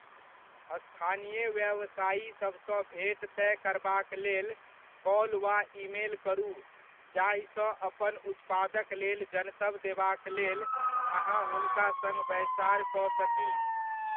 स्थानीय व्यवसायी सभसँ भेंट तय करबाक लेल कॉल वा ईमेल करू जाहिसँ अपन उत्पादक लेल जनतब देबाक लेल अहाँ हुनका सङ्ग बैसार कऽ सकी।